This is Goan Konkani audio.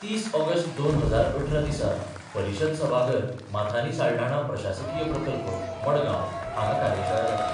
तीस ऑगस्ट दोन हजार अठरा दिसा परिशद सभाघर, माथानी साल्ढाणा प्रशासकीय प्रकल्प, मडगांव हांगा कार्यशाळा जातली.